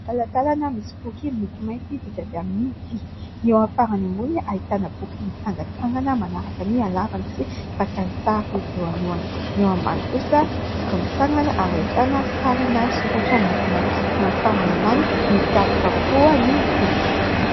Talantalana misy boky miloko mainty vita avy amin'ny vy. Ny eo amin'ny farany ambony ahitana boky mitsangantsangana manaraka ny halavany sy fakan-tsary eo alohany. Ny eo ambany kosa boky mitsangana ary ahitana sarina sokatra miloko mainty. Ny eo amin'ny farany ambany midaboka avokoa ny boky.